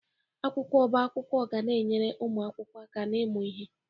Akwụkwọ ọbá akwụkwọ ga na-enyere ụmụ akwụkwọ aka n'ịmụ ihe.